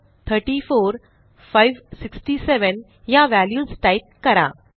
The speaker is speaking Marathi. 0 34 567 ह्या व्हॅल्यूज टाईप करा